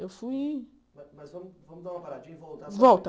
Eu fui... Mas vamos dar uma paradinha e voltar. Volta